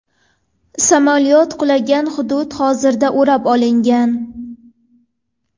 Samolyot qulagan hudud hozirda o‘rab olingan.